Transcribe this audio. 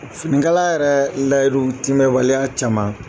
Finikala yɛrɛ layidu timɛwaleya caman